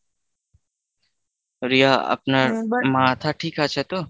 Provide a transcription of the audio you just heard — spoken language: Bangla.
রিয়া আপনার মাথা ঠিক আছে তো?